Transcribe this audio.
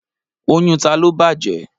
Oyún ta ló bàjẹ́?